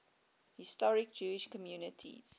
historic jewish communities